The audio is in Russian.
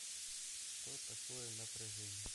что такое напряжение